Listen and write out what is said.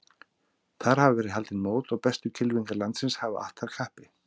Þar hafa verið haldin mót og bestu kylfingar landsins hafa att þar kappi.